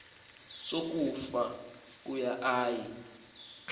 sokufa kuba ayi